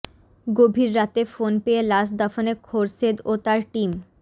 গভীর রাতে ফোন পেয়ে লাশ দাফনে খোরশেদ ও তার টিম